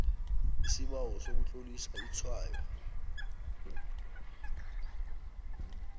isibawo sokutlolisa itshwayo